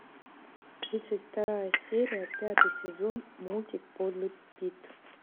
тридцать вторая серия пятый сезон мультик подлый пит